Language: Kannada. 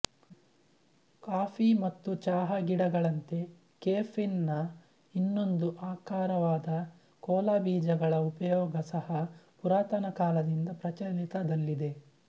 ಕಾಫಿ ಮತ್ತು ಚಹಾ ಗಿಡಗಳಂತೆ ಕೆಫೀನ್ ನ ಇನ್ನೊಂದು ಆಕರವಾದ ಕೋಲಾ ಬೀಜಗಳ ಉಪಯೋಗ ಸಹ ಪುರಾತನ ಕಾಲದಿಂದ ಪ್ರಚಲಿತದಲ್ಲಿದೆ